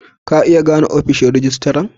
Ka iya gane ofishin rijistiran?